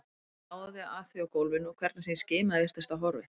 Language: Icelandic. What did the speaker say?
Ég gáði að því á gólfinu og hvernig sem ég skimaði virtist það horfið.